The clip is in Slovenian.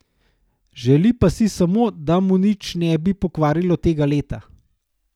Želi pa si samo, da mu nič ne bi pokvarilo tega leta.